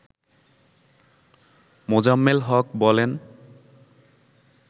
মোজাম্মেল হক বলেন